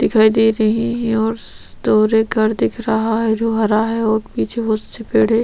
दिखाई दे रही है और दूर एक घर दिख रहा है जो हरा है और पीछे बहुत से पेड़े --